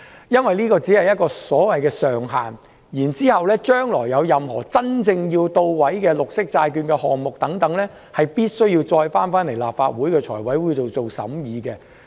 因為這只是一個所謂的上限，政府將來若真正要推行任何綠色債券項目，必須提交立法會財務委員會進行審議。